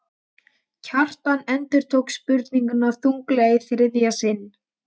Kjartan endurtók spurninguna þunglega í þriðja sinn.